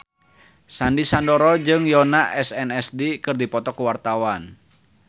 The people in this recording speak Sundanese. Sandy Sandoro jeung Yoona SNSD keur dipoto ku wartawan